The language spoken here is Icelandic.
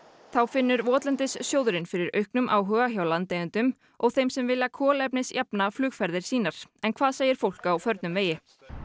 þá finnur fyrir auknum áhuga hjá landeigendum og þeim sem vilja kolefnisjafna flugferðir sínar en hvað segir fólk á förnum vegi